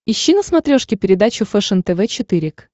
ищи на смотрешке передачу фэшен тв четыре к